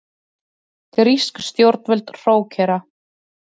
Grísk stjórnvöld hrókera